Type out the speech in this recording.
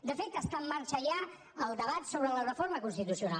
de fet està en marxa ja el debat sobre la reforma constitucional